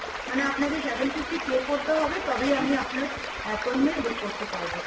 মানে আপনাকে seven fifty pay করতে হবে তবেই আমি আপনার appointment book করতে পারবো।